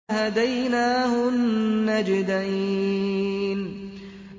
وَهَدَيْنَاهُ النَّجْدَيْنِ